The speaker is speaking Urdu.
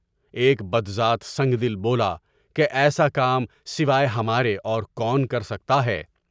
ایک بدذات سنگدل بولا کہ ایسا کام سوائے ہماری اور کون کر سکتا ہے؟